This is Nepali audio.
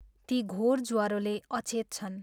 ती, घोर ज्वरोले अचेत छन्।